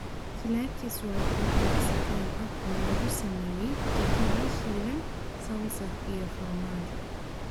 Chilaquiles waa quraac Mexican ah oo lagu sameeyay tortillas shiilan, salsa iyo farmaajo.